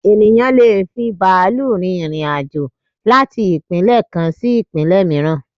Ènìyàn lé è fi bàálù rin irin-àjò láti ìpínlẹ̀ kan sí ìpínlẹ̀ mìíràn